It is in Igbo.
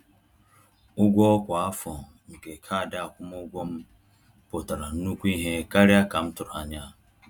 Ụgwọ kwa afọ nke kaadị akwụmụgwọ m pụtara nnukwu ihe karịa ka m tụrụ anya.